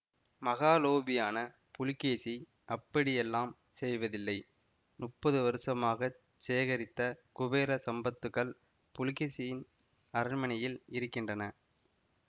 மகாலோபியான புலிகேசி அப்படியெல்லாம் செய்வதில்லை முப்பது வருஷமாகச் சேகரித்த குபேர சம்பத்துக்கள் புலிகேசியின் அரண்மனையில் இருக்கின்றன